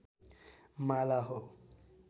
माला हो